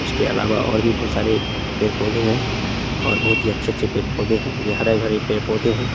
उसके भी अलावा और भी कुछ सारे पेड़-पौधे हैं और बहुत ही अच्छे-अच्छे पेड़-पौधे है ये हरे-भरे पेड़-पौधे हैं।